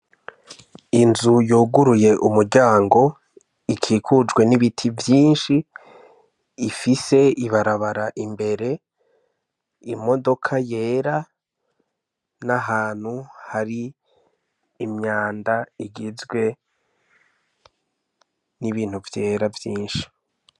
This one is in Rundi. Inzu yoguruye umurango ikikujwe n'ibiti vyinshi ifise ibarabara imbere imodoka yera n'ahantu hari imyanda igizwe n'ibintu vyera vyinshi.